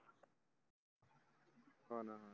हो ना